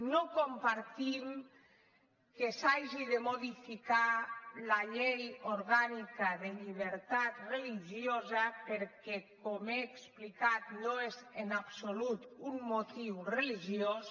no compartim que s’hagi de modificar la llei orgànica de llibertat religiosa perquè com he explicat no és en absolut un motiu religiós